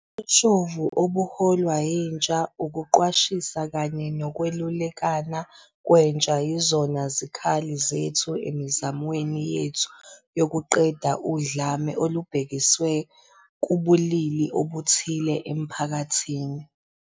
Ubushoshovu obuholwa yintsha, ukuqwashisa kanye nokwelulekana kwentsha yizona zikhali zethu emizamweni yethu yokuqeda udlame olubhekiswe kubulili obuthile emphakathini.